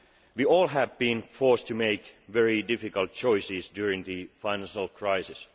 We have all been forced to make very difficult choices during the financial crisis.